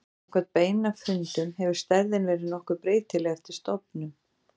Samkvæmt beinafundum hefur stærðin verið nokkuð breytileg eftir stofnum.